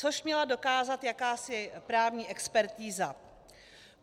Což měla dokázat jakási právní expertiza.